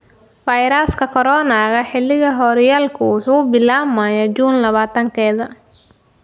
Fayraska Corona: Xilliga horyaalku wuxuu bilaabmayaa Juun labatankeda